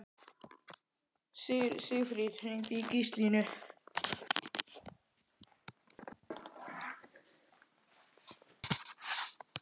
Sigfríð, hringdu í Gíslalínu.